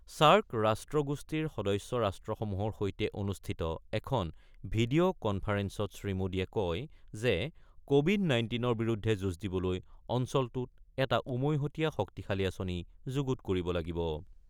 SAARC ৰাষ্ট্ৰগোষ্ঠীৰ সদস্য ৰাষ্ট্ৰসমূহৰ সৈতে অনুষ্ঠিত এখন ভিডিঅ' কনফাৰেঞ্চত শ্ৰীমোদীয়ে কয় যে, কোৱিড নাইণ্টিনৰ বিৰুদ্ধে যুঁজ দিবলৈ অঞ্চলটোত এটা উমৈহতীয়া শক্তিশালী আঁচনি যুগুত কৰিব লাগিব।